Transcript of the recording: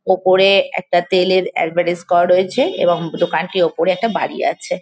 ওপরে একটা তেলের এডভার্টাইস করা রয়েছে এবং দোকানটি ওপরে একটা বাড়ি আছে ।